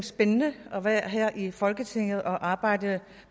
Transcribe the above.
spændende at være her i folketinget og arbejde